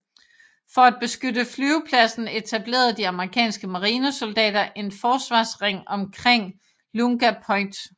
For at beskytte flyvepladsen etablerede de amerikanske marinesoldater en forsvarsring omkring Lunga Point